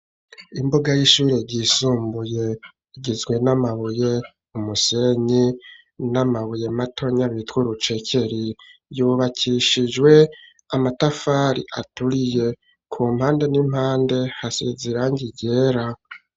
Imbuga y'ishuri ryisumbuye igizwe n'amabuye umusenyi n'amabuye matonya bita urucekeri yubakishijwe amatafari aturiye ku mpande n'impande hase zirangi ryera.